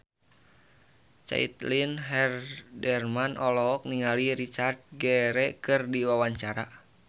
Caitlin Halderman olohok ningali Richard Gere keur diwawancara